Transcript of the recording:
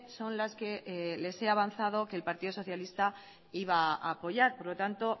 son las que les he avanzado que el partido socialista iba a apoyar por lo tanto